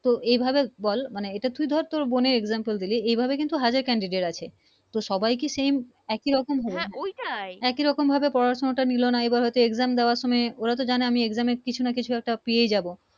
তো এই ভাবে বল মানে তুই ধর বোনের Exam তল দিলি এ ভাবে কিন্তু হাজার Candidate আছে তো সবাই কি Same একি রকম হ্যা একি রকম পড়া শোনা নিলো না হয়তো Exam দেওয়ার সময় ওরা তো জানে আমি Exam কিছু না কিছু পেয়ে যাবো